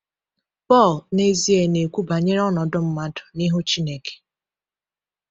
Pọl, n’ezie, na-ekwu banyere ọnọdụ mmadụ n’ihu Chineke.